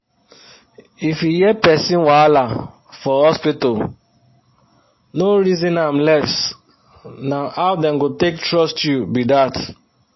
if you hear persin wahala fo hospital no resin am less na how dem go take trust you be dat